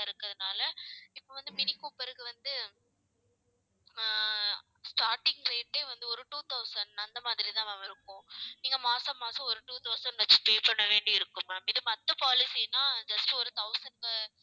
இருக்கறதுனால, இப்ப வந்து மினி கூப்பர்க்கு வந்து அஹ் starting rate ஏ வந்து, ஒரு two thousand அந்த மாதிரிதான் ma'am இருக்கும். நீங்க மாச மாசம் ஒரு two thousand ஆச்சும் pay பண்ண வேண்டி இருக்கும் ma'am இது மத்த policy ன்னா just ஒரு thousand